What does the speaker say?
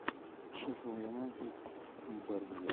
шеффилд юнайтед бернли